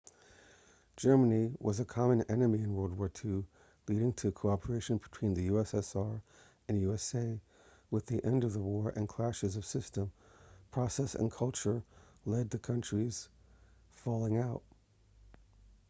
germany was a common enemy in world war 2 leading to cooperation between the ussr and usa with the end of the war the clashes of system process and culture led to the countries falling out